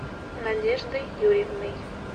надеждой юрьевной